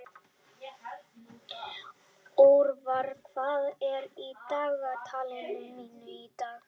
Orvar, hvað er á dagatalinu mínu í dag?